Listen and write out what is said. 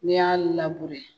N'i y'a